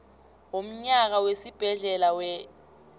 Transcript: womnyaka wesibhedlela wer